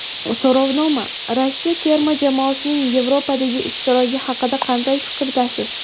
So‘rovnoma: Rossiya terma jamoasining Yevrodagi ishtiroki haqida qanday fikrdasiz?.